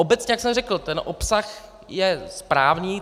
Obecně, jak jsem řekl, ten obsah je správný.